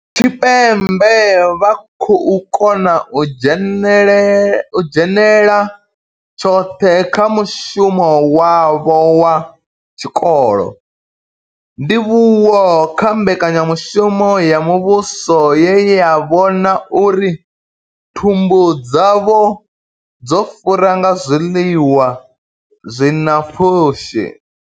Tshipembe vha khou kona u dzhenela tshoṱhe kha mushumo wavho wa tshikolo, ndivhuwo kha mbekanyamushumo ya muvhuso ye ya vhona uri thumbu dzavho dzo fura nga zwiḽiwa zwi na pfushi.